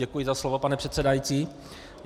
Děkuji za slovo, pane předsedající.